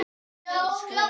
Því urðu þessar limrur til.